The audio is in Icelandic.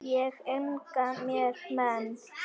Ég eigna mér menn.